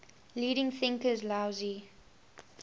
leading thinkers laozi